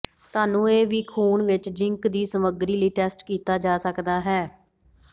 ਤੁਹਾਨੂੰ ਇਹ ਵੀ ਖੂਨ ਵਿੱਚ ਜ਼ਿੰਕ ਦੀ ਸਮੱਗਰੀ ਲਈ ਟੈਸਟ ਕੀਤਾ ਜਾ ਸਕਦਾ ਹੈ